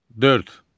Dörd.